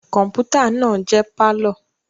Kọmputa naa jẹ parlour